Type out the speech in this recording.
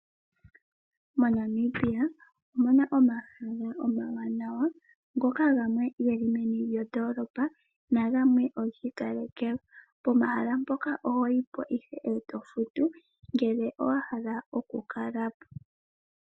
MoNamibia omuna omahala oomawanawa ngoka gamwe ge li meni lyondoolopa nogamwe ogiikalekelwa . Pehala mpoka oho yi po ihe eto futu ngele wahala okukala po.